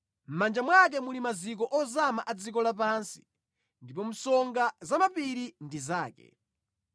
Mʼmanja mwake muli maziko ozama a dziko lapansi, ndipo msonga za mapiri ndi zake.